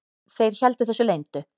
Þeir héldu þessu leyndu.